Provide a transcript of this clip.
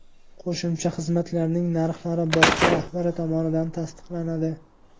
Qo‘shimcha xizmatlarning narxlari bog‘cha rahbari tomonidan tasdiqlanadi.